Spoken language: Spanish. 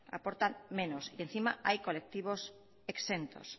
y encima hay colectivos exentos